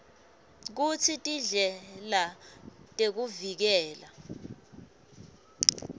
kutsi tindlela tekuvikela